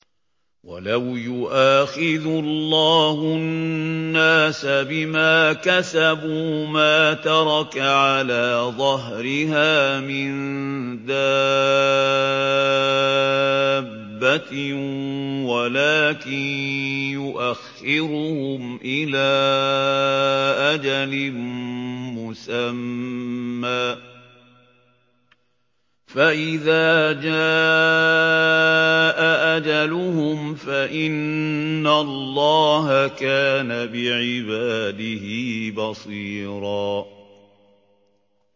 وَلَوْ يُؤَاخِذُ اللَّهُ النَّاسَ بِمَا كَسَبُوا مَا تَرَكَ عَلَىٰ ظَهْرِهَا مِن دَابَّةٍ وَلَٰكِن يُؤَخِّرُهُمْ إِلَىٰ أَجَلٍ مُّسَمًّى ۖ فَإِذَا جَاءَ أَجَلُهُمْ فَإِنَّ اللَّهَ كَانَ بِعِبَادِهِ بَصِيرًا